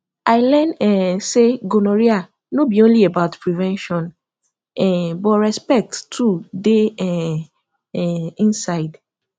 i learn um say gonorrhea no be only about prevention um but respect too dey um um inside